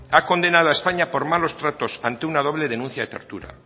ha condenado a españa por malos tratos ante una doble denuncia de tortura